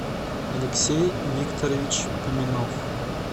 алексей викторович поминов